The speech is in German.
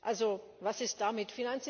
Also, was ist damit?